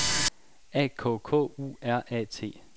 A K K U R A T